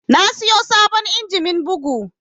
Na siyo sabon injimin bugu